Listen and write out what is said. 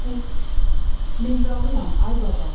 Və yaxud Mehralıyam, ay baba.